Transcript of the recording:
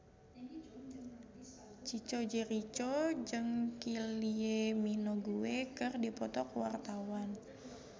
Chico Jericho jeung Kylie Minogue keur dipoto ku wartawan